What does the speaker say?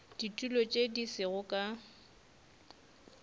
ditulo tše di sego ka